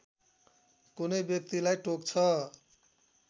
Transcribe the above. कुनै व्यक्तिलाई टोक्छ